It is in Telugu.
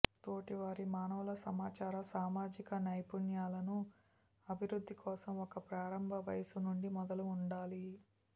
తోటివారి మానవుల సమాచార సామాజిక నైపుణ్యాలను అభివృద్ధి కోసం ఒక ప్రారంభ వయస్సు నుండి మొదలు ఉండాలి